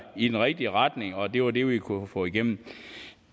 i den rigtige retning og det var det vi kunne få igennem